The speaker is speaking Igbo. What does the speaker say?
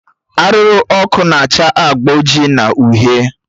Arụrụ ọkụ na acha agba oji na uhie